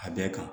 A bɛɛ kan